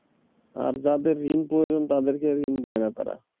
আর যাদের ঋণ প্রয়োজন তাদেরকে ঋণ দেয় না তারা।